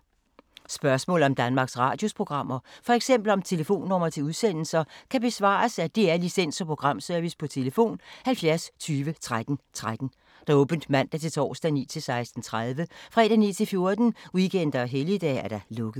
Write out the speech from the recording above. Spørgsmål om Danmarks Radios programmer, f.eks. om telefonnumre til udsendelser, kan besvares af DR Licens- og Programservice: tlf. 70 20 13 13, åbent mandag-torsdag 9.00-16.30, fredag 9.00-14.00, weekender og helligdage: lukket.